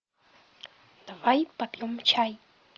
давай попьем чай